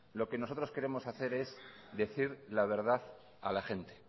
lo que nosotros queremos hacer es decir la verdad a la gente